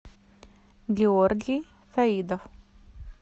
георгий фаидов